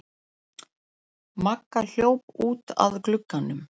Magga hljóp út að glugganum.